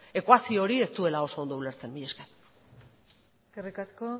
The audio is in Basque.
ekuazio hori ez duela oso ondo ulertzen mila esker eskerrik asko